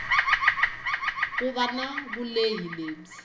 ku va na vulehi lebyi